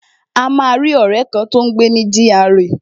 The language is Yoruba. A máa rí ọ̀rẹ́ kan, tó ń gbé ní gra